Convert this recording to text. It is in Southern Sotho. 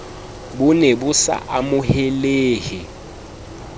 bo ne bo sa amohelehe